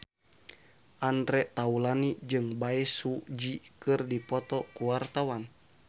Andre Taulany jeung Bae Su Ji keur dipoto ku wartawan